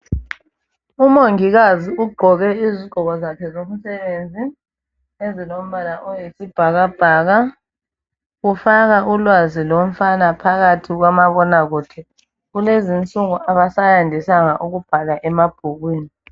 Umongikazi ugqoke izigqoko zakhe zomsebenzi ezilombala oyisibhakabhaka. Ufaka ulwazi lomfana phakathi komabonakude. Kulezi insuku abasayandisanga ukubhala emabhukwini.